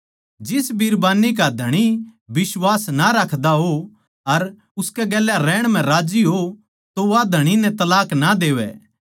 जिस बिरबान्नी का धणी बिश्वास ना राखदा हो अर उसकै गेल्या रहण म्ह राज्जी हो तो वा धणी नै तलाक ना देवै